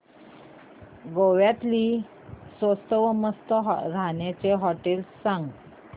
गोव्यातली स्वस्त पण मस्त राहण्याची होटेलं सांग